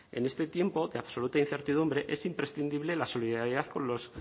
en este tiempo de absoluta incertidumbre es imprescindible la solidaridad con los